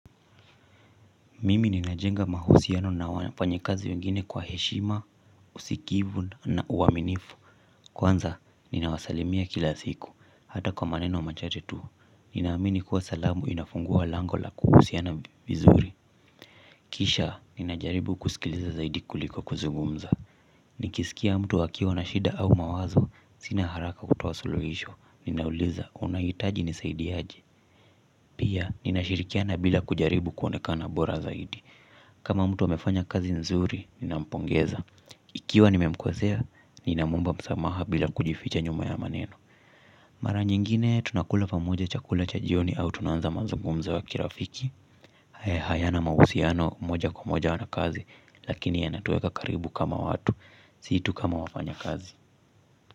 Mimi ninajenga mahusiano na wafanyikazi wengine kwa heshima, usikivu na uwaminifu. Kwanza, ninawasalimia kila siku, hata kwa maneno machache tu. Ninaamini kuwa salamu inafungua lango la kuhusiana vizuri. Kisha, ninajaribu kusikiliza zaidi kuliko kuzungumza. Nikisikia mtu akiwa na shida au mawazo, sina haraka kutoa suluhisho. Ninauliza, unahitaji nisaidie aje. Pia, ninashirikiana bila kujaribu kuonekana bora zaidi. Kama mtu amefanya kazi nzuri, ninampongeza. Ikiwa nimemkosea, ninamwomba msamaha bila kujificha nyuma ya maneno. Mara nyingine, tunakula pamoja chakula cha jioni au tunaanza mazungumzo wa kirafiki. Hayana mahusiano moja kwa moja na kazi, lakini yanatuweka karibu kama watu. Si tu kama wafanya kazi.